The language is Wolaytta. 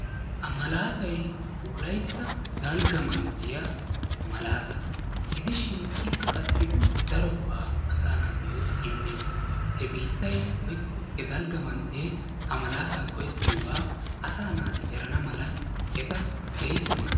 Ha malaatay wolaytta dalgga manttiya malaata gidishin ikka qassi daro go'a asa naatuyo immees. He biittay woykko he dalgga mantte ha malaata go'etiyoga asa naati eranamala eta keehippe maadees.